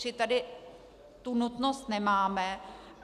Čili tady tu nutnost nemáme.